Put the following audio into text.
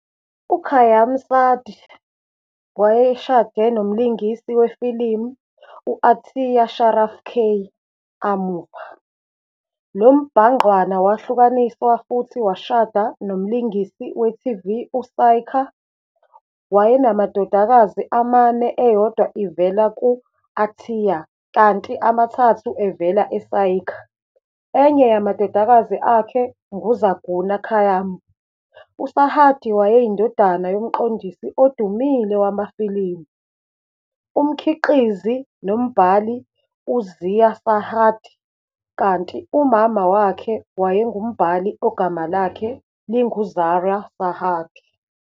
UKhayyam Sarhadi wayeshade nomlingisi wefilimu u- "Atiya Sharaf. K"amuva, lo mbhangqwana wahlukanisa futhi washada nomlingisi we-TV "uSaiqa". Wayenamadodakazi amane eyodwa ivela ku-Atiya kanti emithathu ivela eSayiqa, enye yamadodakazi akhe "nguZarghuna Khayyam". USarhadi wayeyindodana yomqondisi odumile wamafilimu, umkhiqizi nombhali "uZia Sarhadi" kanti umama wakhe wayengumbhali ogama lakhe "linguZahra Sarhadi".